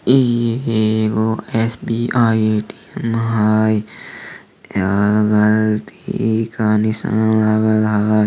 ई एगो S B I A _T _M हई ऐ में तीर के निशान लागल हेय।